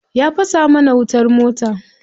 Ya fasa mana wutar mota.